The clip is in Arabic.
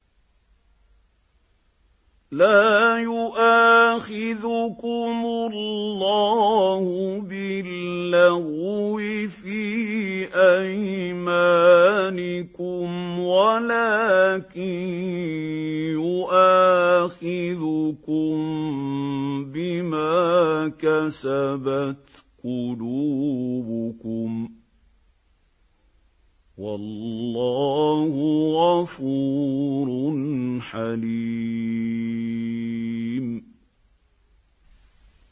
لَّا يُؤَاخِذُكُمُ اللَّهُ بِاللَّغْوِ فِي أَيْمَانِكُمْ وَلَٰكِن يُؤَاخِذُكُم بِمَا كَسَبَتْ قُلُوبُكُمْ ۗ وَاللَّهُ غَفُورٌ حَلِيمٌ